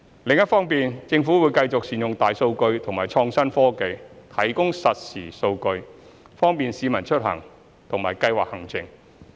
此外，政府會繼續善用大數據及創新科技，提供實時數據，方便市民出行和計劃行程。